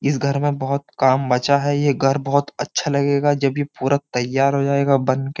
इस घर में बोहोत काम बचा है। ये घर बोहोत अच्छा लगेगा जब ये पूरा तैयार हो जाएगा बनके।